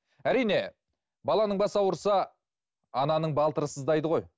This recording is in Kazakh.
әрине баланың басы ауырса ананың балтыры сыздайды ғой